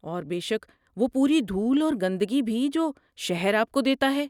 اور بے شک، وہ پوری دھول اور گندگی بھی جو شہر آپ کو دیتا ہے۔